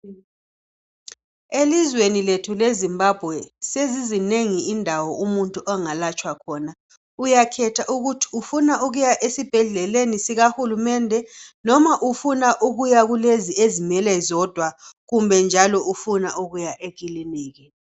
Elizweni lethu le Zimbabwe sezizinengi indawo zomuntu angalatshwa khona uyakhetha ukuthibufuna ukuya esibhedleni esikahulumende noma ufuna ukuya kulezi ezizimele zodwa kumbe njalo ufuna ukuya ekilinika.